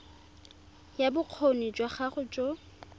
ya bokgoni jwa gago jo